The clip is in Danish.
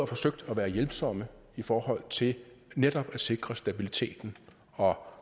forsøgt at være hjælpsomme i forhold til netop at sikre stabiliteten og